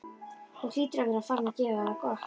Þú hlýtur að vera farinn að gera það gott!